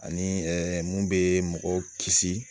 Ani mun bɛ mɔgɔw kisi